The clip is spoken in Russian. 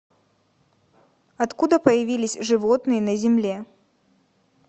откуда появились животные на земле